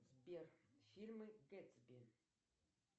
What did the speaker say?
сбер фильмы гэтсби